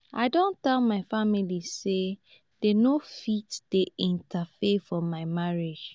i don tell my family sey dem no fit dey interfere for my marriage.